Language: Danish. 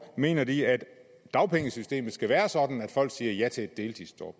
mener de at dagpengesystemet skal være sådan at folk siger ja til et deltidsjob